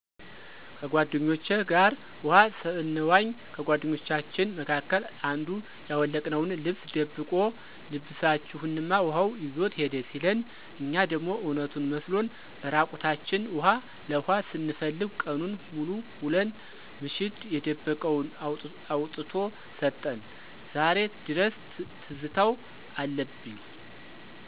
ከጓደኞቸ ጋር ውሀ ሰንዋኝ ከጓደኞቻችን መካከል አንዱ ያወለቅነውን ልብስ ደብቆ ልብሰችሁንማ ውሀው ይዞት ሄደ ሲለን እኛ ደሞ እውነቱን መስሎን እራቁታችን ውሀ ለኋ ስንፈልግ ቀኑን ሙሉ ውለን ምሽት የደበቀውን አውጥቶ ሰጠን ዛሬ ድረስ ትዝታው አለብኝ።